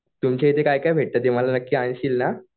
तुमच्याइथे काय काय भेटतं ते मला नक्की आणशील ना?